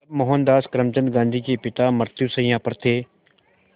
जब मोहनदास करमचंद गांधी के पिता मृत्युशैया पर थे